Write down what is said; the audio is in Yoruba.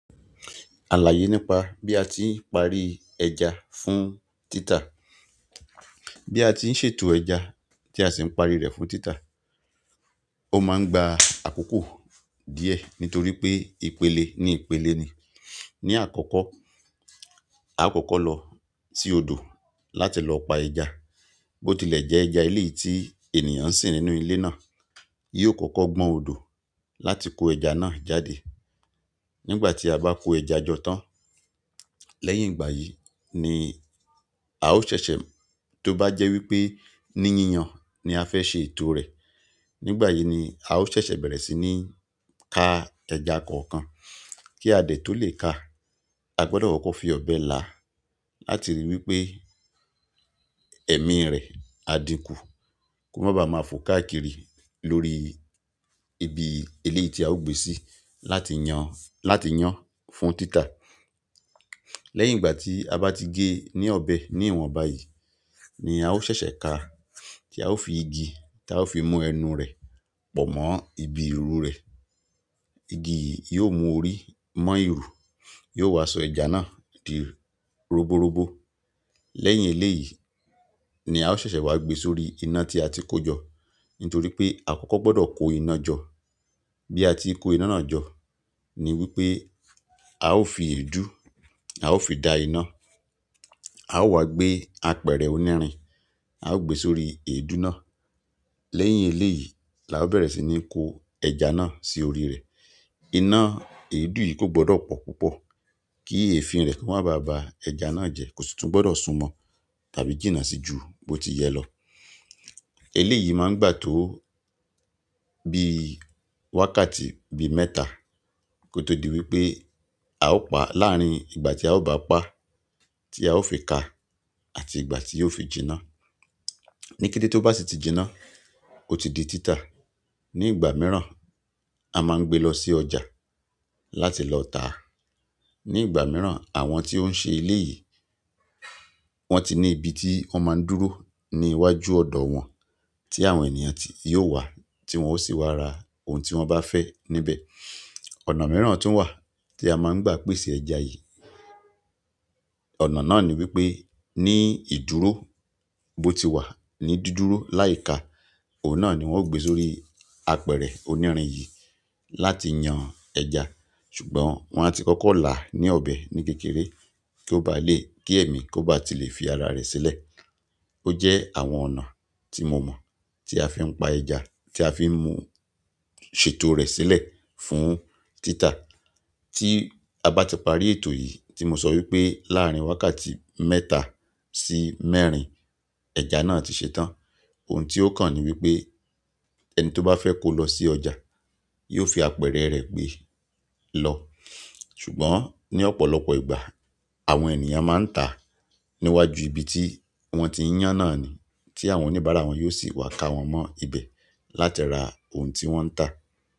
Àlàyé nípa bí a ti ń parí ẹja fún títà. Bí a ti ń ṣètò ẹja tí a sì ń parí rẹ̀ fún títà, ó máa ń gba àkókò díẹ̀ nítorí pé ìpele ní ìpele ni. Ni àkọ́kọ́, a ó kọ́kọ́ lọ sí odò, láti lọ pa ẹja. Bó tilẹ̀ jẹ́ ẹja ilé tí ènìyàn ń sìn nínú ilé náà, yóò kọ́kọ́ gbọn odò láti kó ẹja náà jáde. Nígbà tí a bá kó ẹja jọ tán, lẹ́yìn ìgbà yìí ni a ó ṣẹ̀ṣẹ̀, tó bá jẹ́ wípé ní yíyan ni a fẹ́ ṣe ètò rẹ̀, nígbà yìí ni a ó ṣẹ̀ṣẹ̀ bẹ̀rẹ̀ sí ní ká ẹja kọ̀ọ̀kan. Kí a dẹ̀ tó lè ká, a gbọdọ̀ kọ́kọ́ fi ọ̀bẹ là á láti ríi wípé ẹ̀mí rẹ̀, á dínkù, kó má ba à máa fo káàkiri lórí ibi iléyi tí a ó gbé síi láti yan, láti yán fún títà. L'ẹ́yìn ìgbà tí a bá ti gé ní ọ̀bẹ ní ìwọ̀nbá yìí, ni a ó ṣẹ̀ṣẹ̀ ká, tí a ó fi igi tí a ó fi mú ẹnu rẹ̀ pọ̀ mọ́ ibi iru rẹ̀. Igi yìí yóò mú orí mọ́ iru, yóò wá sọ ẹja náà di roboróbó. Lẹ́yìn eléyìí ni a ó ṣẹ̀ṣẹ̀ wá gbé sórí iná tí a ti kó jọ. Nítorí pé àkọ́kọ́ gbọdọ̀ kó iná jọ. Bí a ti kó iná náà jọ ni wípé a ó fi èédú, a ó fi da iná a ó wá gbé apẹ̀rẹ̀ onírin, a ó gbé sórí èédú náà. Lẹ́yìn eléyìí la ó bẹ̀rẹ̀ sí ní kó ẹja náà sí orí rẹ̀. Iná èédú yìí kò gbọdọ̀ pọ̀ púpọ̀, kí èéfín rẹ̀ kó má ba à ba ẹja náà jẹ́. Kò sì tún gbọdọ̀ sún mọ́, tàbí jìnnà sí ju bó ti yẹ lọ. Eléyìí má ń gbà tó bí wákàtí bí mẹ́ta kó tó di wípé a ó pa, láàrín ìgbà tí a ó bá pa, tí a ó fi ka àti ìgbà tí yóò fi jinná. Nítorí pé àkọ́kọ́ gbọdọ̀ kó iná jọ ni ìgbà mìíràn, a máa ń gbé lọ sí ọjà láti lọ tà á ni ìgbà mìíràn, àwọn tí ó ń ṣe eleyìí, wọ́n ti ní ibi tí wọ́n máa ń dúró ní iwájú ọ̀dọ̀ wọn tí àwọn ènìyàn yóò wá tí wọ́n ó sì wá ra ohun tí wọ́n bá fẹ́ níbẹ̀. Ọ̀nà mìíràn tun wa, ti a maa n gba pese ẹja yìí, ọ̀nà náà ni wípé, ni ìdúró bó ti wà ní dúdúró láiká, òun náà ni wọ́n ó gbé sórí apẹ̀rẹ̀ onírin yìí láti yan ẹja. Ṣùgbọ́n wọ́n á ti kọ́kọ́ là á ní ọ̀bẹ ní kékeré kí ó bá lè, kí ẹ̀mí kó bá ti lè fi ara rẹ̀ sílẹ̀. Ó jẹ́ àwọn ọ̀nà tí mo mọ̀ tí a fi ń pa ẹja tí a fi ń mú ṣètò rẹ̀ sílẹ̀ fún títà. Tí a bá ti parí ètò yìí, tí mo sọ wípé láàrín wákàtí mẹ́ta sí mẹ́rin, ẹja náà ti ṣetán. Ohun tí ó kàn ni wípé ẹni tó bá fẹ́ kó lọ sí ọjà yóò fi apẹ̀rẹ̀ rẹ̀ gbé lọ. Ṣùgbọ́n ní ọ̀pọ̀lọpọ̀ ìgbà àwọn ènìyàn máa ń tà á níwájú ibi tí wọ́n ti ń yán náà ni tí àwọn oníbàárà wọn yóò sì wá ká wọn mọ́ ibẹ̀ láti ra ohun tí wọ́n ń tà.